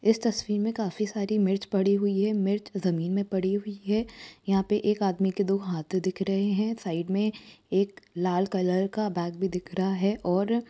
इस तस्वीर में काफी सारी मिर्च पड़ी हुई हैं मिर्च जमीन में पड़ी हुई हैं यहाँ पे एक आदमी के दो हाथ दिख रहे हैं। साइड में एक लाल कलर का बैग भी दिख रहा है और --